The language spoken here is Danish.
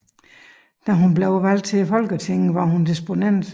Da hun blev valgt til Folketinget var hun disponent